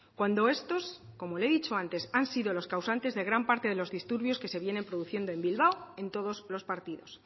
cuando estos como le he dicho antes han sido los causantes de gran parte de los disturbios que se vienen produciendo en bilbao en todos los partidos